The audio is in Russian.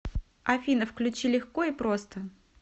афина включи легко и просто